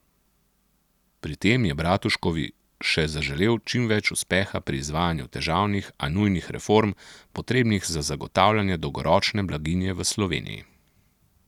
Pri tem je Bratuškovi še zaželel čim več uspeha pri izvajanju težavnih, a nujnih reform, potrebnih za zagotavljanje dolgoročne blaginje v Sloveniji.